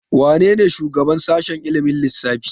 Wanene shugaban sashen ilimin lissafi?